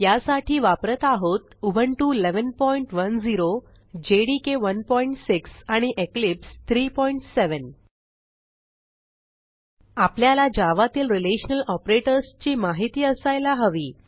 यासाठी वापरत आहोत उबुंटू 1110 जेडीके 16 आणि इक्लिप्स 37 आपल्याला जावा तील रिलेशनल ऑपरेटर्स ची माहिती असायला हवी